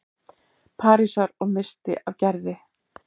Parísar- og missti af Gerði.